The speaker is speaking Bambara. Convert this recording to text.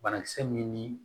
Banakisɛ min ni